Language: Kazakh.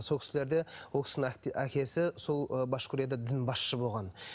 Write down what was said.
сол кісілерде ол кісінің әкесі сол ы башқұрияда дін басшысы болған